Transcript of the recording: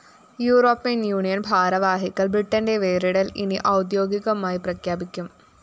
European‍ union ഭാരവാഹികള്‍ ബ്രിട്ടന്റെ വേറിടല്‍ ഇനി ഔദേ്യാഗികമായി പ്രഖ്യാപിക്കും